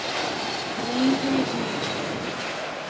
Reyni mikið.